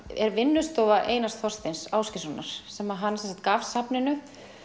er vinnustofa Einars Þorsteins Ásgeirssonar sem hann gaf safninu